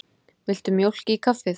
Viltu mjólk í kaffið?